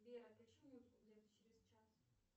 сбер отключи музыку где то через час